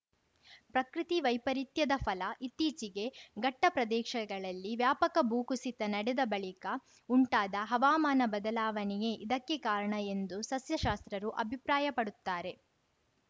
ಪ್ರಕೃತಿ ವೈಪರೀತ್ಯದ ಫಲ ಇತ್ತೀಚೆಗೆ ಘಟ್ಟಪ್ರದೇಶಗಳಲ್ಲಿ ವ್ಯಾಪಕ ಭೂಕುಸಿತ ನಡೆದ ಬಳಿಕ ಉಂಟಾದ ಹವಾಮಾನ ಬದಲಾವಣೆಯೇ ಇದಕ್ಕೆ ಕಾರಣ ಎಂದು ಸಸ್ಯಶಾಸ್ತ್ರರು ಅಭಿಪ್ರಾಯಪಡುತ್ತಾರೆ